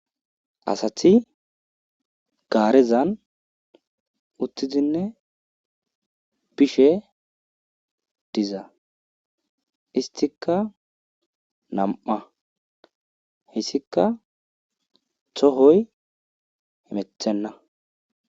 Asathi gaareza uthidinne bishe diza esttikka nam7a haysikka tohoy hemettenna.